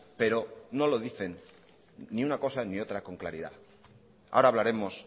pero no lo dicen ni una cosa ni otra con claridad ahora hablaremos